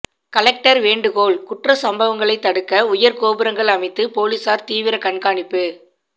collector வேண்டுகோள் குற்ற சம்பவங்களை தடுக்க உயர் கோபுரங்கள் அமைத்து போலீசார் தீவிர கண்காணிப்பு